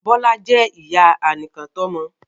Bọ́lá jẹ́ ìyá anìkàntọ́mọ